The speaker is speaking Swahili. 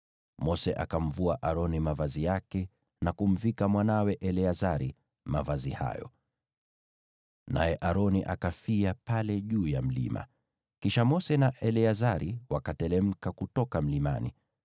Mose akamvua Aroni mavazi yake na kumvika mwanawe Eleazari mavazi hayo. Naye Aroni akafia pale juu ya mlima. Kisha Mose na Eleazari wakateremka kutoka mlimani.